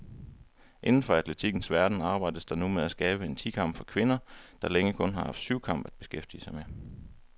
Inden for atletikkens verden arbejdes der nu med at skabe en ti kamp for kvinder, der længe kun har haft syvkamp at beskæftige med.